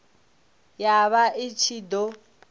ya vha i ṱshi ḓo